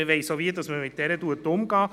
Man weiss auch, wie man mit ihr umgeht.